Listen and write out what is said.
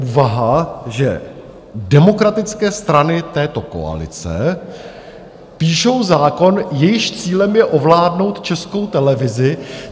Úvaha, že demokratické strany této koalice píšou zákon, jehož cílem je ovládnout Českou televizi.